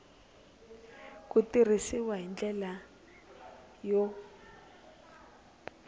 ku tirhisiwa hi ndlela yo